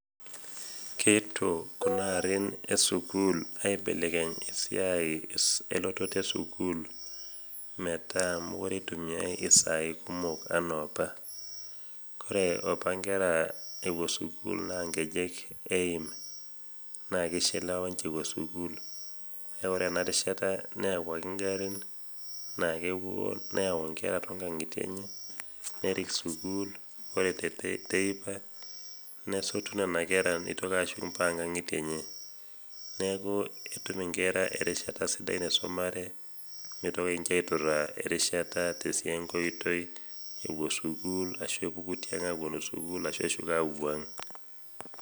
Keetuo kuna arrin esukul aibelekeny esiai elototo esukuul metaa mokure eitumiai isaai kumok anaaopa. Kore opa nkera epuo sukul naa nkejek eim , nake eishekewa ninche ewuo sukul kake ore ena rishata neawuaki  ingarrin naakepuo neyau nkera tongang'itie enye nerik sukul ore te teipa nesotu nena kera neitoki ashuk mpaka ngang'itie enye neaku etum inkera erishata sidai  naisomare meitoki ninche aitorraa erishata tesiai enkoitoi epuo sukul ashu epuku tiang' apuo sukul ashu eshuko apuo ang'.